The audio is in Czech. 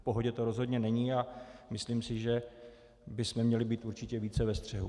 V pohodě to rozhodně není a myslím si, že bychom měli být určitě více ve střehu.